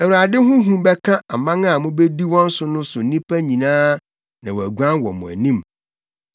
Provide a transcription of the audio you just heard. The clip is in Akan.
“ Awurade ho hu bɛka aman a mubedi wɔn so no so nnipa nyinaa na wɔaguan wɔ mo anim.